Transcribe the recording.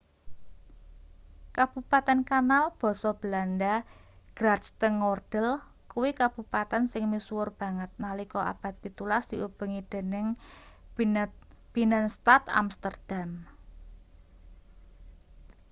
kabupaten kanal basa belanda: grachtengordel kuwi kabupaten sing misuwur banget nalika abad pitulas diubengi dening binnenstad amsterdam